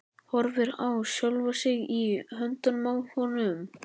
Horfir á sjálfa sig í höndunum á honum.